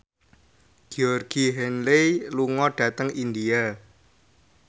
Georgie Henley lunga dhateng India